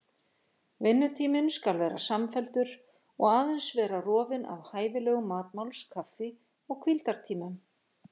Vinnutíminn skal vera samfelldur og aðeins vera rofinn af hæfilegum matmáls-, kaffi- og hvíldartímum.